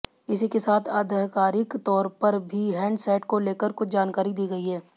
इसी के साथ आधिकारिक तौर पर भी हैंडसेट को लेकर कुछ जानकारी दी गई है